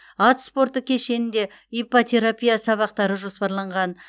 ат спорты кешенінде иппотерапия сабақтары жоспарланған